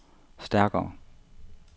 stærkere